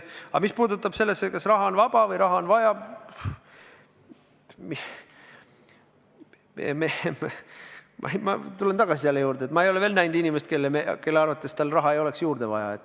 Aga mis puutub sellesse, kas raha on vaba või raha on vaja, siis ma tulen tagasi selle juurde, et ma ei ole veel näinud inimest, kelle arvates tal raha ei ole juurde vaja.